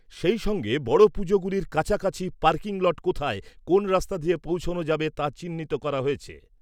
সঙ্গে বড় পুজোগুলির কাছাকাছি পার্কিং লট কোথায়, কোন রাস্তা দিয়ে পৌঁছনো যাবে তা চিহ্নিত করা হয়েছে